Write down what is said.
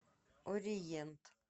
ориент